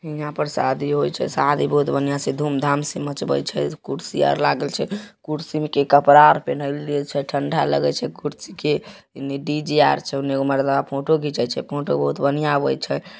यहाँ पर शादी होइ छे। शादी बहुत बढ़िया से धूम-धाम से मचवई छे कुर्सी आर लागल छे कुर्सी में के कपड़ा आर पेनहैले छे ठंडा लगई छे कुर्सी के। ओने डी.जे. आर छे। ओने एगो मर्दावा फोटो खिंचाई छे। फोटो बहुत बढ़िया आवै छे।